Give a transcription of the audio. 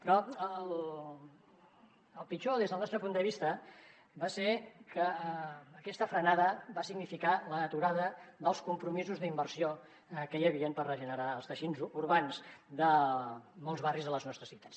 però el pitjor des del nostre punt de vista va ser que aquesta frenada va significar l’aturada dels compromisos d’inversió que hi havien per regenerar els teixits urbans de molts barris de les nostres ciutats